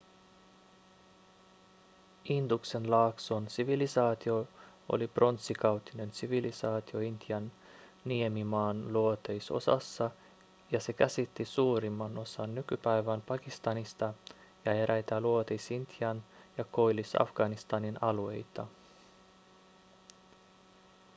induksen laakson sivilisaatio oli pronssikautinen sivilisaatio intian niemimaan luoteisosassa ja se käsitti suurimman osan nykypäivän pakistanista ja eräitä luoteis-intian ja koillis-afganistanin alueita